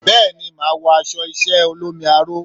Bẹ́ẹ̀ni, màá wọ aṣọ iṣẹ́ ẹ olómi aró.